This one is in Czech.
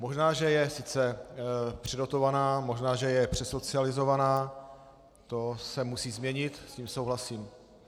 Možná že je sice předotovaná, možná že je přesocializovaná, to se musí změnit, s tím souhlasím.